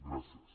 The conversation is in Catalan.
gràcies